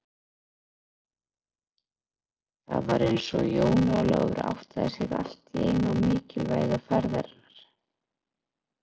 Það var eins og Jón Ólafur áttaði sig allt í einu á mikilvægi ferðarinnar.